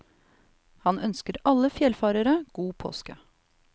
Han ønsker alle fjellfarere god påske.